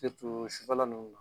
sufɛla nunnu na